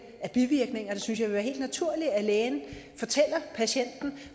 af bivirkninger jeg synes det vil være helt naturligt at lægen fortæller patienten